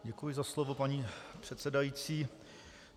Děkuji za slovo paní předsedající.